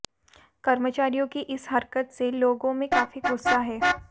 कर्मचारियों की इस हरकत से लोगों में काफी गुस्सा है